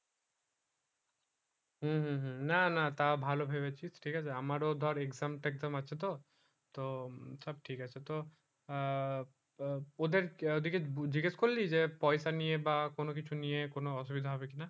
হম হম হম না না না তা ভালো ভেবেছিস ঠিক আছে আমার ও ধর exam টেক্সাম আছে তো সব ঠিক আছে তো আহ তোদের ঐই দিকে জিজ্ঞেস করলি যে পয়সা নিয়ে বা কোনো কিছু নিয়ে কোনো অসুবিধা হবে কি না